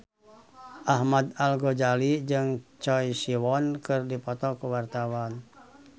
Ahmad Al-Ghazali jeung Choi Siwon keur dipoto ku wartawan